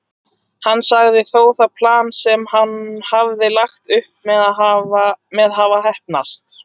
Hann sagði þó það plan sem hann hafði lagt upp með hafa heppnast.